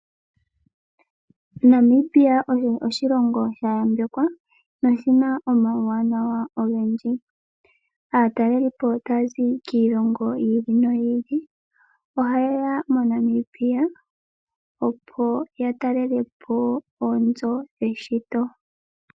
Namibia osho oshilongo sha yambekwa no oshina oma wuwanawa ongendji, atalelipo tazi kiilongo yili no yili oha yeya moNamibia opo ya talelepo oonzo dheshito.